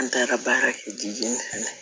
An taara baara kɛ